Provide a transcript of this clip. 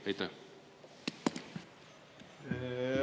Aitäh!